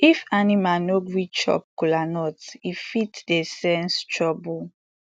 if animal no gree chop kola nut e fit dey sense trouble